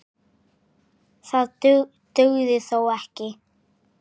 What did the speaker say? Það dugði þó ekki.